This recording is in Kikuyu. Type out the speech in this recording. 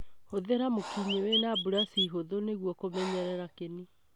Hũthĩra mũkinyĩ wĩna burashi hũthũ nĩgũo kũmenyerera kĩnĩ.